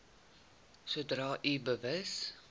sodra u bewus